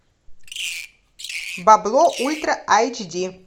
бабло ультра айч ди